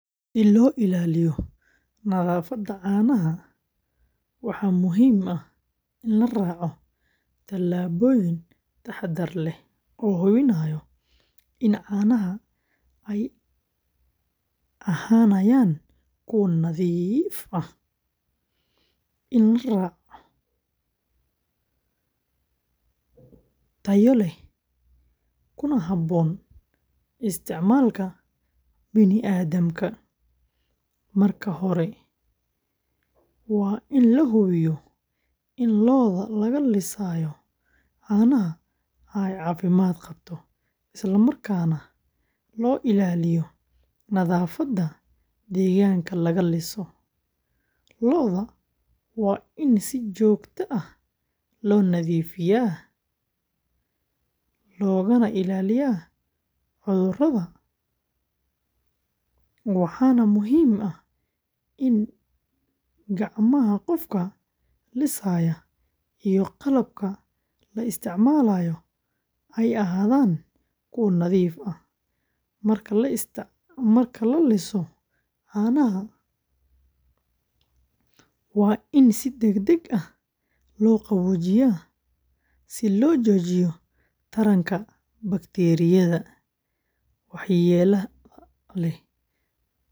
Si loo ilaaliyo nadaafadda caanaha, waxaa muhiim ah in la raaco tallaabooyin taxadar leh oo hubinaya in caanaha ay ahaanayaan kuwo nadiif ah, tayo leh, kuna habboon isticmaalka bini’aadamka. Marka hore, waa in la hubiyaa in lo’da laga lisayo caanaha ay caafimaad qabto, islamarkaana loo ilaaliyo nadaafadda deegaanka laga liso. Lo’da waa in si joogto ah loo nadiifiyaa, loogana ilaaliyaa cudurrada, waxaana muhiim ah in gacmaha qofka lisaya iyo qalabka la isticmaalayo ay ahaadaan kuwo nadiif ah. Marka la liso caanaha, waa in si degdeg ah loo qaboojiyaa si loo joojiyo taranka bakteeriyada waxyeellada leh.